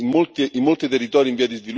o il benestare dell'autorità.